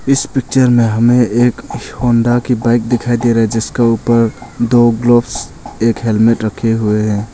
इस पिक्चर में हमे एक होंडा की बाइक दिखाई दे रही जिसके ऊपर दो ग्लव्स एक हेलमेट रखे हुए हैं।